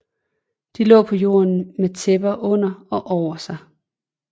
De lå på jorden med tæpper under og over sig